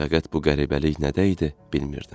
Fəqət bu qəribəlik nədə idi bilmirdim.